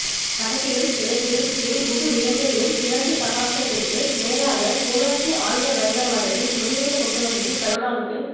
வடக்கிலும் கிழக்கிலும் ஏன் முழுஇலங்கையிலும் இரண்டுசகாப்தத்திற்கு மேலாக கோலோச்சிய ஆயுதபயங்கரவாதத்தை முடிவுக்கு கொண்டு வந்ததில் கருணாவுக்கு